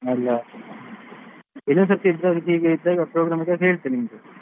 ಅಲ್ಲಾ ಇನ್ನೊಂದು ಸರ್ತಿ ಇದ್ರೆ ಹೀಗೆ ಇದ್ರೆ program ಇದ್ದಾಗ ಹೇಳ್ತೇನೆ ನಿಮ್ಗೆ.